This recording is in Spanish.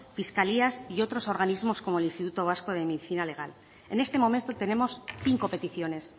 fiscalías y otros organismos como el instituto vasco de medicina legal en este momento tenemos cinco peticiones